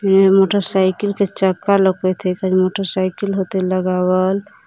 एक मोटरसाइकिल के चक्का लौकत हइ इधर मोटरसाइकिल होतै लगावल --